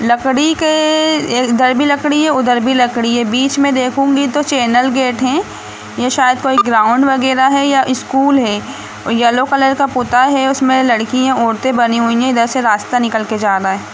लकड़ी के उधर भी लकड़ी है बीच में देखूंगी तो चैनल गेट है यह शायद कोई ग्राउंड वगैरा है या स्कूल है येलो कलर का पोता है उसमें लड़कियां औरतें बनी हुई है इधर से रास्ता निकल कर जा रहा है।